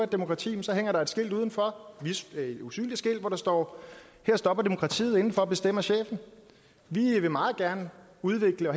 demokrati hænger der et skilt udenfor et usynligt skilt hvor der står her stopper demokratiet indenfor bestemmer chefen vi vil meget gerne udvikle